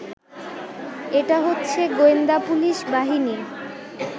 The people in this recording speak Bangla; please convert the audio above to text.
এটা হচ্ছে গোয়েন্দা পুলিশ বাহিনী